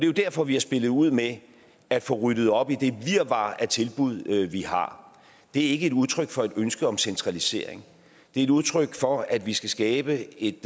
jo derfor vi har spillet ud med at få ryddet op i det virvar af tilbud vi har det er ikke et udtryk for et ønske om centralisering det er et udtryk for at vi skal skabe et